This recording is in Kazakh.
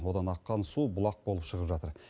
одан аққан су бұлақ болып шығып жатыр